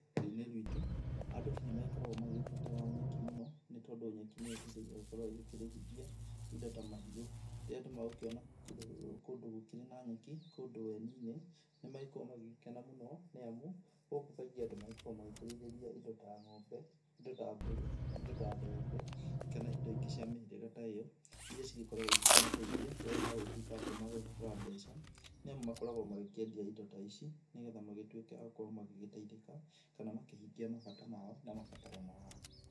Rũrĩrĩ-ini rwitu andũ nĩmagĩkoragwo magĩgĩbatara nyeki mũno, nĩ tondu nyeki nĩyo ĩteithagia gũkorwo ĩgĩkĩrĩithia indo ta mahiũ. Rĩrĩa andũ megũkĩona kũndũ gũkĩrĩ na nyeki, kũndũ weni-inĩ, nĩmagĩkoragwo magĩgĩkena mũno nĩ amu gũkũ kaingĩ andũ magĩkoragwo magĩkĩrĩithĩria indo ta ng'ombe, indo ta mbũri, indo ta thenge, kana indo ingĩ cia mĩhĩrĩga ta iyo, iria cigĩkoragwo igĩkĩmateithia rĩrĩa magũgĩtwĩka atĩ nĩmagũgĩbatara mbeca, nĩamu makoragwo magĩkĩendia indo ta ici nĩ getha magĩtwĩke a gũkorwo magĩgĩteithĩka, kana makĩhingia mabata mao na mabataro mao.